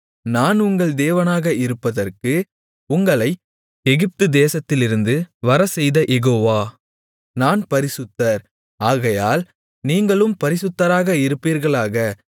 நான் உங்கள் தேவனாக இருப்பதற்கு உங்களை எகிப்து தேசத்திலிருந்து வரச்செய்த யெகோவா நான் பரிசுத்தர் ஆகையால் நீங்களும் பரிசுத்தராக இருப்பீர்களாக